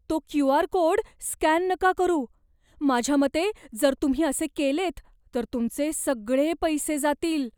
तो Q. R. Code scan नका करू. माझ्या मते जर तुम्ही असे केलेत तर तुमचे सगळे पैसे जातील.